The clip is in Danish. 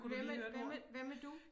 Hvem er hvem er hvem er du?